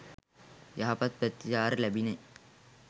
යහපත් ප්‍රතිචාර ලැබිණි.